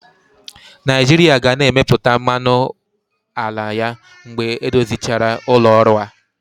Naijiria ga na-emepụta mmanụ ala ya mgbe edozichara ụlọ ọrụ a.